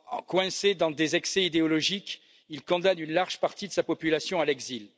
Coincé dans des excès idéologiques, il condamne une large partie de sa population à l'exil.